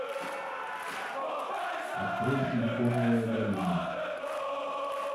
открой силиконовая долина